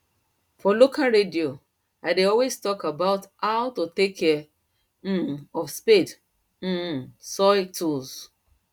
for local radio i dey always talk about hot to take care um of spade um soil tools